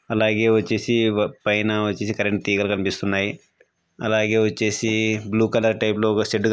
అలాగే వచ్చేసి వ-పైన వచ్చేసి కరెంట్ తీగలు కనిపిస్తున్నాయి. అలాగే వచ్చేసి బ్లూ కలర్ టైప్ లో ఒక షెడ్ కని--